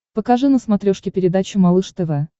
покажи на смотрешке передачу малыш тв